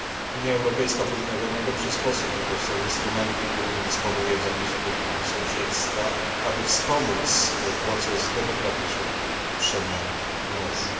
Unia Europejska powinna w jak najlepszy sposób wykorzystać instrumenty, którymi dysponuje w zakresie polityki sąsiedztwa, aby wspomóc proces demokratycznych przemian w Tunezji.